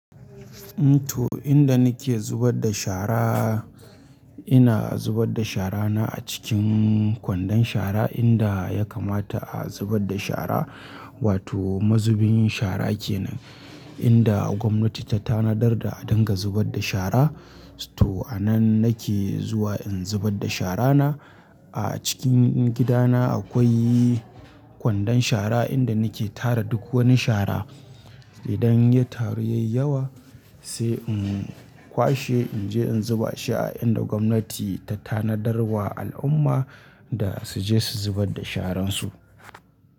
To, inda nake zubar da shara, ina zubar da shara na a cikin kwandon shara inda ya kamata a zubar da shara wato mazubin shara kenan. Inda gwamnati ta tanadar da a dinga zubar da shara. To a nan nake zuwa in zubar da shara na. A cikin gidana akwai kwandon shara inda nake tara duk wani shara. Idan ya taru yayi yawa sai in kwashe in je in zuba shi a inda gwamnati ta tanadar wa al'umma da su je su zubar da sharan su.